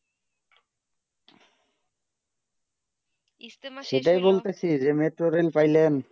সেটাই বলতেছি যে metro rail পাইলেন